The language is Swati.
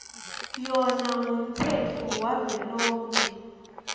yona ngumtsetfo wavelonkhe